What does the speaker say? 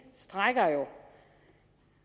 rækker jo